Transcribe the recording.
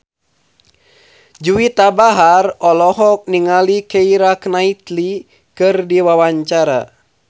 Juwita Bahar olohok ningali Keira Knightley keur diwawancara